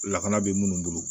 Lakana bɛ munnu bolo